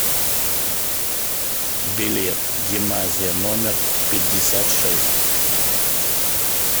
билет гимназия номер пятьдесят шесть